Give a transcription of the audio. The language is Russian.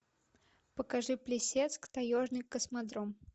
покажи плесецк таежный космодром